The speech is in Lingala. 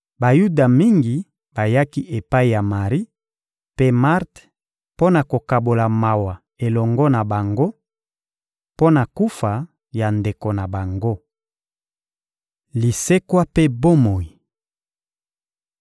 Bayuda mingi bayaki epai ya Mari mpe Marte mpo na kokabola mawa elongo na bango, mpo na kufa ya ndeko na bango. Lisekwa mpe bomoi